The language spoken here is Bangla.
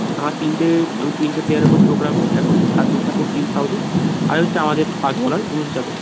আমরা তিনটে তিনটে player দের উপর চোখ রাখবো এক হচ্ছে শার্দুল ঠাকুর টিম সাউথি আর এই যে আমাদের first bowler উমেশ যাদব